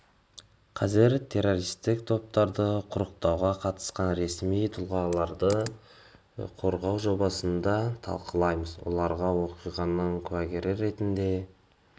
қазір террористік топтарды құрықтауға қатысқан ресми тұлғаларды қорғау жобасын да талқылаймыз оларға оқиғаның куәгері ретінде